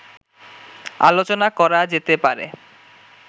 আলোচনা করা যেতে পারে